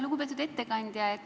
Lugupeetud ettekandja!